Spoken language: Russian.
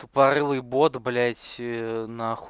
тупорылый бот блять на хуй